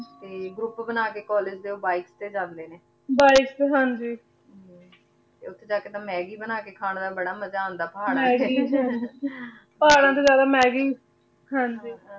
ਤੇ ਗ੍ਰੋਉਪ ਬਣਾ ਕੇ college ਚੋਣ ਬੀਕੇ ਤੇ ਜਾਂਦੇ ਨੇ bikes ਤੇ ਹਾਂਜੀ ਓਥੇ ਜਾ ਕੇ ਤਾਂ maggie ਬਣਾ ਕੇ ਖਾਂ ਦਾ ਬਾਰਾ ਮਜ਼ਾ ਆਉਂਦਾ ਪਹਾਰਾਂ ਚ ਪਹਾਰਾਂ ਤੋਂ ਜਿਆਦਾ maggie ਹਾਂਜੀ